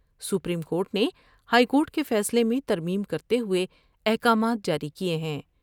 Supreme court نے high court کے فیصلے میں ترمیم کرتے ہوۓ احکامات جاری کئے ہیں ۔